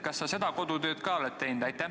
Kas sa seda kodutööd ka oled teinud?